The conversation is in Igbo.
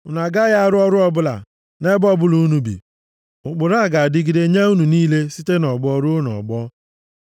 Unu agaghị arụ ọrụ ọbụla. Nʼebe ọbụla unu bi, ụkpụrụ a ga-adịgide nye unu niile site nʼọgbọ ruo nʼọgbọ.